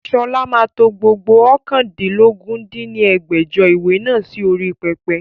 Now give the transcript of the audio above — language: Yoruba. Sọlá máa to gbogbo oókàndínlógún dín ní ẹgbẹ́jọ ìwé náà sì orí pẹpẹ